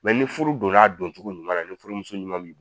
ni furu donn'a doncogo ɲuman na ni furumuso ɲuman b'i b